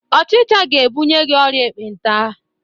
Ọchịcha ga-ebunye gi ọrịa ekpenta